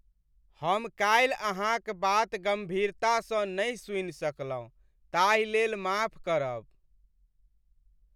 हम काल्हि अहाँक बात गम्भीरतासँ नहि सुनि सकलहुँ ताहिलेल माफ करब।